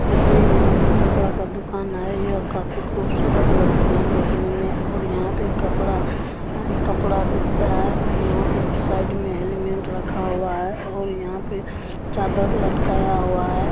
देखिये यहाँ पे कपड़े का दुकान है यहाँ काफी ख़ूबसूरत लगते है दिखने में और यहाँ पे कपड़ा कपड़ा बिकता है और यहाँ पे साइड में एलिमेंट रखा हुआ है और यहाँ पे चादर लटकाया हुआ है।